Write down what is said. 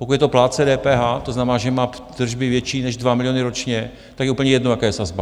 Pokud je to plátce DPH, to znamená, že má tržby větší než 2 miliony ročně, tak je úplně jedno, jaká je sazba.